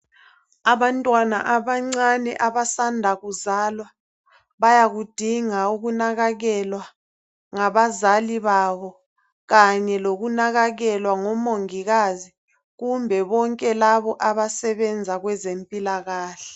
Abantwana abancane abasanda kuzalwa bayakudinga ukunakakelwa ngabazali babo kanye lokunakakelwa ngomongikazi kumbe bonke labo abasebenza kwezempilakahle.